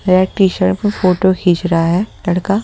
red T-shirt में photo खींच रहा है लड़का--